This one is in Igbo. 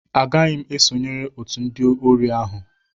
Agaghị m esonyere otu ndị ori ahụ